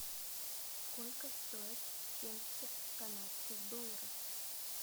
сколько стоят семьдесят канадских долларов